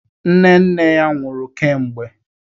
Nne nne ya nwụrụ kemgbe.